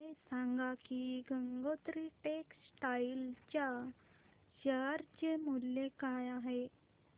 हे सांगा की गंगोत्री टेक्स्टाइल च्या शेअर चे मूल्य काय आहे